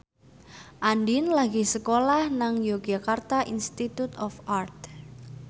Andien lagi sekolah nang Yogyakarta Institute of Art